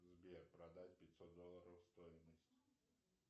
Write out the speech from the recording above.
сбер продать пятьсот долларов стоимость